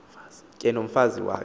ke nomfazi wakhe